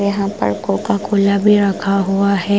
यहाँ पर कोका-कोला भी रखा हुआ है ।